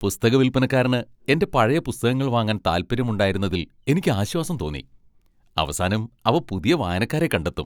പുസ്തക വിൽപ്പനക്കാരന് എന്റെ പഴയ പുസ്തകങ്ങൾ വാങ്ങാൻ താൽപ്പര്യമുണ്ടായിരുന്നതിൽ എനിക്ക് ആശ്വാസം തോന്നി. അവസാനം അവ പുതിയ വായനക്കാരെ കണ്ടെത്തും.